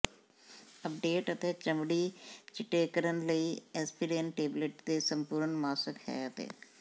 update ਅਤੇ ਚਮੜੀ ਿਚੱਟੇਕਰਨ ਲਈ ਐਸਪਰੀਨ ਟੇਬਲੇਟ ਦੇ ਸੰਪੂਰਣ ਮਾਸਕ ਹੈ ਅਤੇ